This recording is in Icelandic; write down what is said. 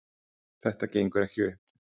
Þetta gengur ekki upp